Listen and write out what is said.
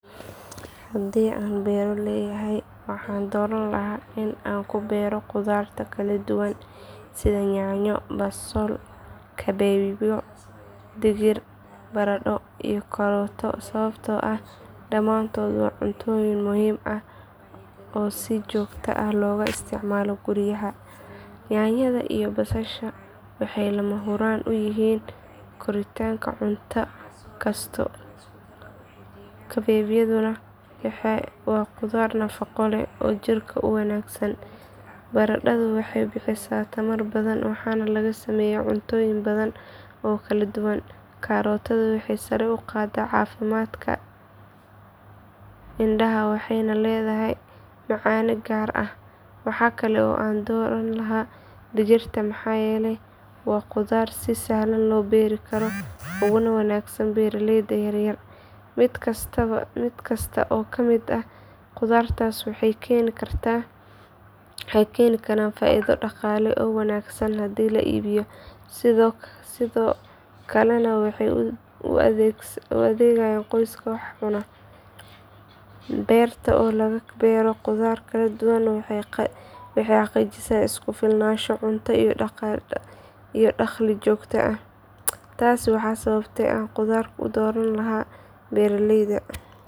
Haddii aan beero leeyahay waxaan dooran lahaa in aan ku beero khudaar kala duwan sida yaanyo, basal, kabeebyo, digir, baradho iyo karootada sababtoo ah dhammaantood waa cuntooyin muhiim ah oo si joogto ah looga isticmaalo guryaha. Yaanyada iyo basasha waxay lama huraan u yihiin karinta cunto kasta, kabeebyaduna waa khudaar nafaqo leh oo jirka u wanaagsan. Baradhadu waxay bixisaa tamar badan waxaana laga sameeyaa cuntooyin badan oo kala duwan. Karootada waxay sare u qaadaa caafimaadka indhaha waxayna leedahay macaane gaar ah. Waxa kale oo aan dooran lahaa digirta maxaa yeelay waa khudaar si sahlan loo beeri karo uguna wanaagsan beeraleyda yaryar. Mid kasta oo ka mid ah khudaartaas waxay keeni karaan faa’iido dhaqaale oo wanaagsan haddii la iibiyo, sidoo kalena waxay u adeegayaan qoyska wax cuna. Beerta oo laga beero khudaar kala duwan waxay xaqiijisaa isku filnaansho cunto iyo dakhli joogto ah. Taasi waa sababta aan khudaar u dooran lahaa beertayda.